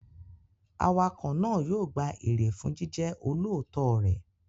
Awakọ̀ náà yóò gba èrè fún jíjẹ́ olóòótọ́ rẹ̀.